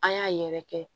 An y'a yɛrɛ kɛ